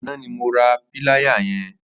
Àná ni mó rà pìláyá yẹ̀n